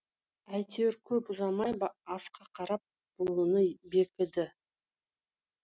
әйтеуір көп ұзамай асқа қарап буыны бекіді